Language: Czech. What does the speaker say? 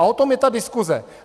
A o tom je ta diskuze!